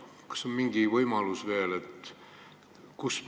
Kas neil on veel mingi võimalus kaasa rääkida?